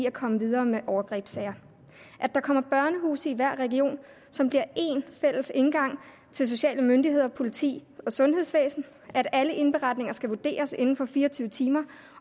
at komme videre med overgrebssager at der kommer børnehuse i hver region som bliver en fælles indgang til sociale myndigheder og politi og sundhedsvæsen at alle indberetninger skal vurderes inden for fire og tyve timer